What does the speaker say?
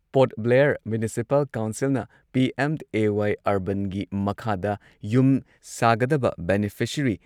port Blair municipal ꯀꯥꯎꯟꯁꯤꯜꯅ PMAY ꯑꯔꯕꯥꯟꯒꯤ ꯃꯈꯥꯗ ꯌꯨꯝ ꯁꯥꯒꯗꯕ ꯕꯦꯅꯤꯐꯤꯁꯔꯤ